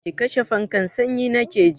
Ki kashe fankan, sanyi nake ji!